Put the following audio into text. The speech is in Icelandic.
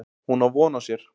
Hún á von á sér.